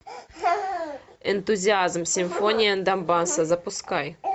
энтузиазм симфония донбасса запускай